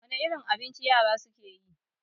Wane irin abinci yara su ke so?